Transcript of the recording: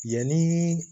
Yanni